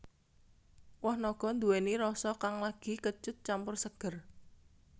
Woh naga nduwèni rasa kang legi kecut campur seger